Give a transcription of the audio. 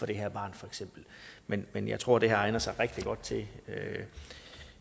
det her barn men men jeg tror det her egner sig rigtig godt til